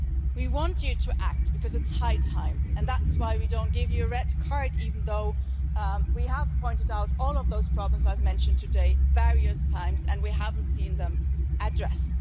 We want you to act because it's high time and that's why we don't give you a red card, even though we have pointed out all of those problems I've mentioned today at various times and we haven't seen them addressed.